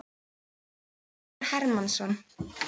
Halldór Hermannsson.